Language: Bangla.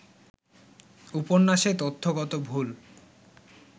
উপন্যাসে তথ্যগত ভুল